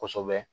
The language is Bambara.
Kosɛbɛ